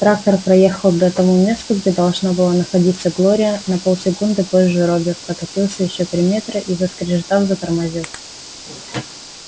трактор проехал до тому месту где должна была находиться глория на полсекунды позже робби прокатился ещё три метра и заскрежетав затормозил